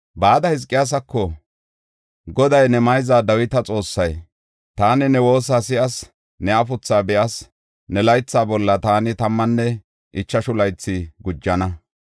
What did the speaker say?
Bada Hizqiyaasako, Goday ne mayza Dawita Xoossay, “Taani ne woosa si7as; ne afuthaa be7as. Ne laytha bolla taani tammanne ichashu laytha gujana.